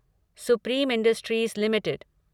supreme industries limited